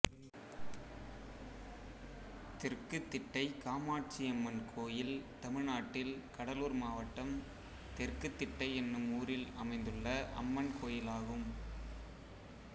தெற்கு திட்டை காமாட்சியம்மன் கோயில் தமிழ்நாட்டில் கடலூர் மாவட்டம் தெற்கு திட்டை என்னும் ஊரில் அமைந்துள்ள அம்மன் கோயிலாகும்